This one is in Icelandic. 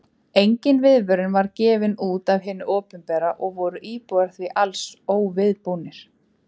Engin viðvörun var gefin út af hinu opinbera og voru íbúar því alls óviðbúnir.